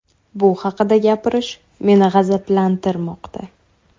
Bu haqida gapirish meni g‘azablantirmoqda.